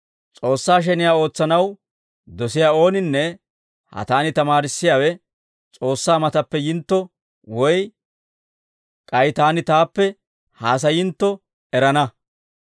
S'oossaa sheniyaa ootsanaw dosiyaa ooninne ha taani tamaarissiyaawe S'oossaa matappe yintto woy k'ay taani taappe haasayayitantto erana.